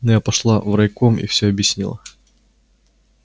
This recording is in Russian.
но я пошла в райком и всё объяснила